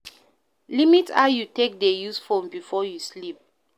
Limit how you take dey use phone before you sleep